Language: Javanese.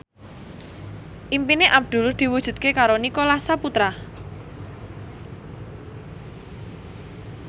impine Abdul diwujudke karo Nicholas Saputra